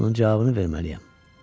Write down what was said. Onun cavabını verməliyəm.